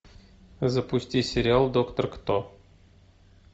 запусти сериал доктор кто